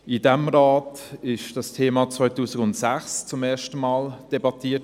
In diesem Rat wurde das Thema 2006 zum ersten Mal debattiert.